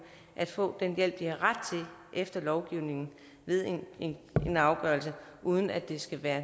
at få den hjælp de har ret til efter lovgivningen ved en afgørelse uden at det skal være